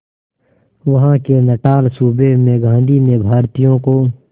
वहां के नटाल सूबे में गांधी ने भारतीयों को